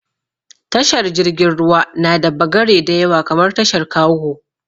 Tashar jirgin ruwa na da bagare da yawa kamar tashar kago